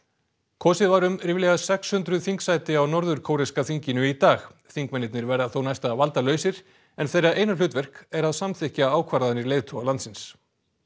kosið var um ríflega sex hundruð þingsæti á norður kóreska þinginu í dag þingmennirnir verða þó næsta valdalausir en þeirra eina hlutverk er að samþykkja ákvarðanir leiðtoga landsins